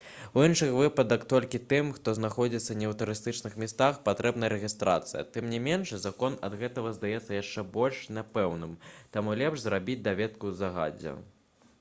у іншых выпадках толькі тым хто знаходзіцца не ў турыстычных месцах патрэбна рэгістрацыя тым не менш закон ад гэтага здаецца яшчэ больш няпэўным таму лепш зрабіць даведку загадзя